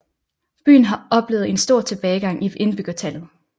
Byen har oplevet en stor tilbagegang i indbyggertallet